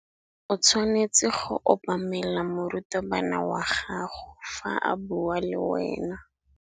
O tshwanetse go obamela morutabana wa gago fa a bua le wena.